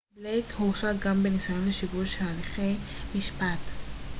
בלייק הורשע גם בניסיון לשיבוש הליכי משפט